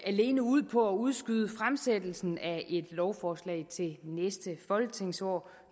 alene ud på at udskyde fremsættelsen af et lovforslag til næste folketingsår